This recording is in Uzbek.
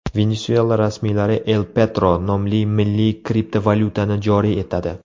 Venesuela rasmiylari El Petro nomli milliy kriptovalyutani joriy etadi.